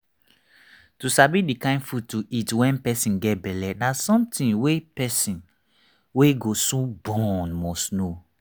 to sabi the kind food to eat when person get belle na something wey person wey go soon born must know